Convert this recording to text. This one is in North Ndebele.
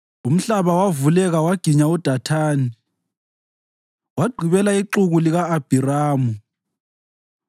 Umhlaba wavuleka waginya uDathani; wagqibela ixuku lika-Abhiramu.